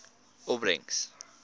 opbrengs